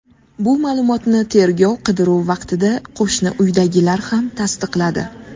Bu ma’lumotni tergov-qidiruv vaqtida qo‘shni uydagilar ham tasdiqladi.